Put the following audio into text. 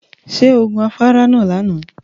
Ṣé o gun afárá náà lánàá?